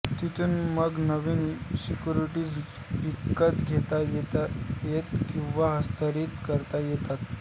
तिथून मग नवीन सिक्युरिटीज विकत घेता येतात किंवा हस्तांतरित करता येतात